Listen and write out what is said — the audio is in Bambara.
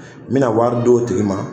N mɛna wari d'o tigi ma.